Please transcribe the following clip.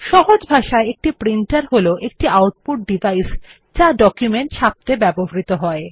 সহজ ভাষায় একটি প্রিন্টার হল একটি আউটপুট ডিভাইস যা একটি ডকুমেন্ট ছাপত়ে ব্যবহৃত হয়